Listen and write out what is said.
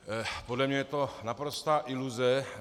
Podle mě je to naprostá iluze.